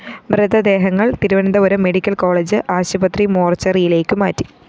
മൃതദേഹങ്ങള്‍ Thiruvananthapuram medical college ആശുപത്രി മോര്‍ച്ചറിയിലേക്കു മാറ്റി